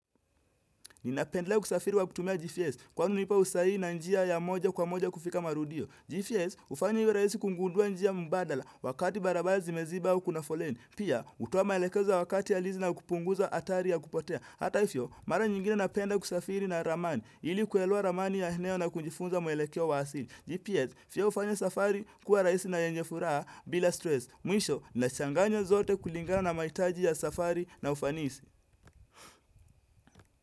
Ninapendelea kusafiri wa kutumia GPS kwani hunipa usahihi na njia ya moja kwa moja kufika marudio. GPS hufanya iwe raisi kungundua njia mbadala wakati barabara zimeziba au kuna foleni. Pia hutoa maelekezo ya wakati ya lizi na kupunguza hatari ya kupotea. Hata hivyo mara nyingine napenda kusafiri na ramani ili kuelewa ramani ya eneo na kujifunza muelekeo wa wasili. GPS pia hufanya safari kuwa rahisi na yenye furaha bila stress. Mwisho nachanganya zote kulingana na mahitaji ya safari na ufanisi.